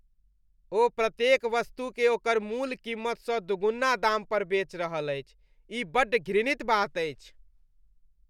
ओ प्रत्येक वस्तुकेँ ओकर मूल कीमतसँ दूगुना दाम पर बेच रहल अछि। ई बड्ड घृणित बात अछि।